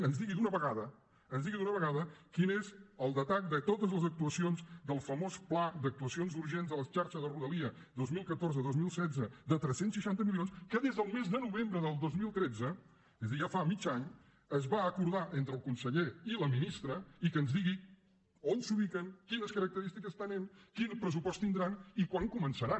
que ens digui d’una vegada quin és el detall de totes les actuacions del famós pla d’actuacions urgents a la xarxa de rodalia dos mil catorze dos mil setze de tres cents i seixanta milions que des del mes de novembre del dos mil tretze és a dir ja fa mig any es va acordar entre el conseller i la ministra i que ens digui on s’ubiquen quines característiques tenen quin pressupost tindran i quan començaran